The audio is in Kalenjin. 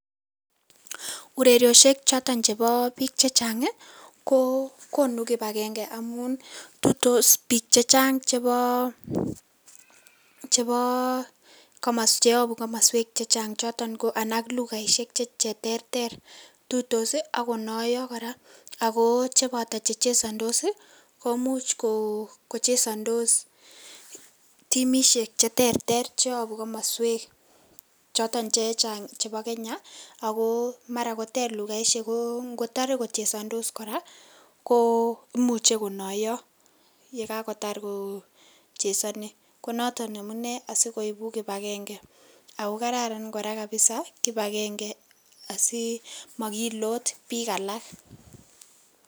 Ureriosiek chotoon chebo biik che chaang ii ko konuu kibagengei amuun tuitos biik chechaang chebo chebo cheyabuu komosweek che chaang chotoon ko lugaisiek che terter , tuitos ii ako nayaa kora ako chebataa che chesandos ii komuuch kochesandos timisiek che terter che yabuu komosweek chotoon che chaang chebo Kenya ako mara koteer lugaisiek ako ngotare kochesandos kora ko imuuchei konayaa ye kako taar kochezani ko notoon amunei asikoibuu kibagengei ago kararan kora kabisa kibagengei asi makiloot biik alaak.